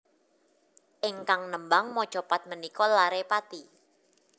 Ingkang nembang macapat menika lare Pati